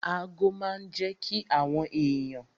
Ago máa n jẹ́ kí àwọn èèyàn